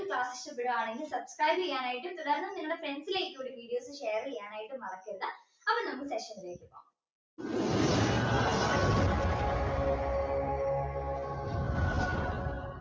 subscribe ചെയ്യാനായിട്ടും തുടർന്നും നിങ്ങളുടെ friends ലേക് കൂടി videos share ചെയ്യാനായിട്ട് മറക്കണ്ട അപ്പൊ നമ്മക്ക് section ലേക് പോകാം